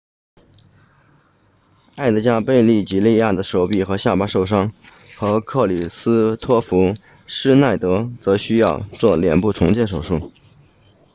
埃德加贝吉利亚 edgar veguilla 的手臂和下巴受伤而克里斯托弗施耐德 kristoffer schneider 则需要做脸部重建手术